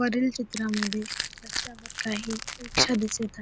वरील चित्रामद्धे काही रिक्शा दिसत आहे.